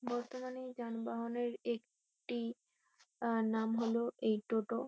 বর্তমানে যানবাহনের এ-ক-টি আ নাম হলো এই টোটো।